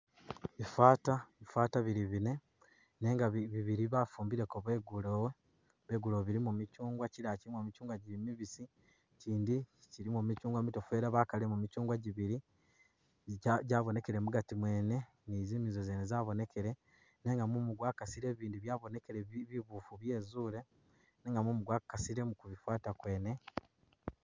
Bifaata, bifaata bili bine nenga bi bibili bafumbileko begulewo ,begulewo bilimo michungwa kyilaala kylimo michungwa gyili mibisi ikyindi ,kyilimo michungwa mitoofu ela bakalilemu michungwa gyibili ji jabonekele mugaati mwene ni zimizo zene zabonekele nenga mumu gwakasile ibindi byabonekele bi bibuufu byezuule nenga mumu gwakasile kubifaata kwene